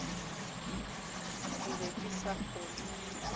ke be ke sa kgolwe